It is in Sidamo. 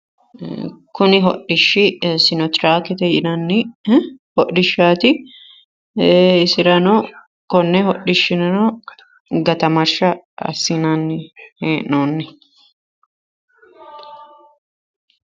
kuni hodhishshi sinoteraakete yinanni hodhishshaati ee isirano konni hodhishshirano gatamarshsha assinanni hee'noonni